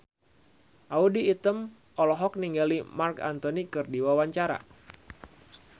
Audy Item olohok ningali Marc Anthony keur diwawancara